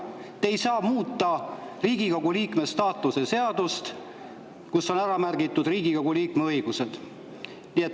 Te ei saa muuta Riigikogu liikme staatuse seadust, kus on ära märgitud Riigikogu liikme õigused.